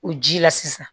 O ji la sisan